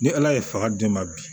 Ni ala ye faga d'e ma bi